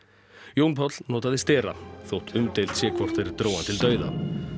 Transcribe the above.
Jón Páll notaði stera þótt umdeilt sé hvort þeir drógu hann til dauða